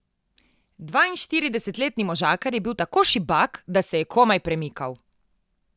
Dvainštiridesetletni možakar je bil tako šibak, da se je komaj premikal.